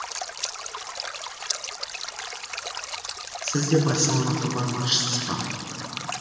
сіз де барселонаға бармақшысыз ба